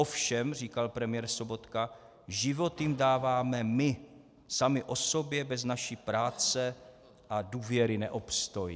Ovšem, říkal premiér Sobotka, život jim dáváme my; samy o sobě bez naší práce a důvěry neobstojí.